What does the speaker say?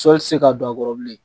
Sɔli tɛ se ka don a kɔrɔ bilen.